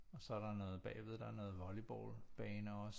Og så er der noget bagved der er noget volleyballbaner også